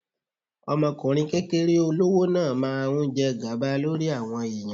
Ọmọkùnrin kékeré olówó náà máa ń jẹ gàba lórí àwọn ẹ̀yàn.